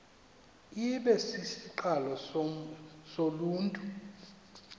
ibe sisiqalo soluntu